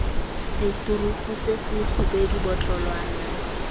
seturupu se se kgubedu botlolwana